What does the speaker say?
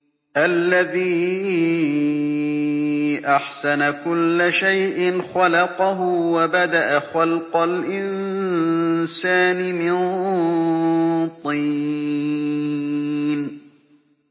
الَّذِي أَحْسَنَ كُلَّ شَيْءٍ خَلَقَهُ ۖ وَبَدَأَ خَلْقَ الْإِنسَانِ مِن طِينٍ